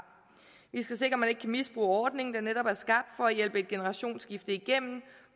vi skal sikre at man ikke kan misbruge ordningen der netop er skabt for at hjælpe et generationsskifte igennem